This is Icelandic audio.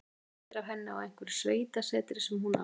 Það voru myndir af henni á einhverju sveitasetri sem hún á.